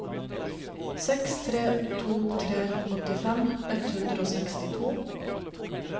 seks tre to tre åttifem ett hundre og sekstito